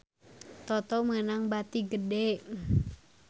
Toto meunang bati gede